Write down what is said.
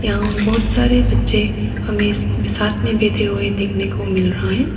बहुत सारे बच्चे हमे साथ में बैठे हुए देखने को मिल रहा है।